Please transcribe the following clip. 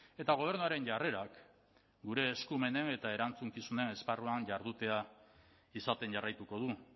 eta gobernuaren jarrerak gure eskumenen eta erantzukizunen esparruan jardutea izaten jarraituko du